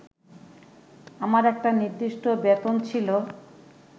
আমার একটা নির্দিষ্ট বেতন ছিল